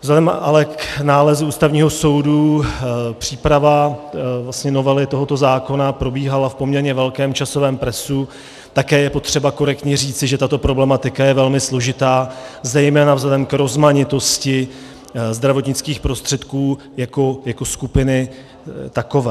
Vzhledem ale k nálezu Ústavního soudu příprava novely tohoto zákona probíhala v poměrně velkém časovém presu, také je potřeba korektně říci, že tato problematika je velmi složitá, zejména vzhledem k rozmanitosti zdravotnických prostředků jako skupiny takové.